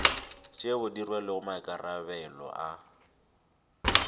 tšeo di rwelego maikarabelo a